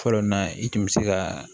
Fɔlɔ na i kun mi se ka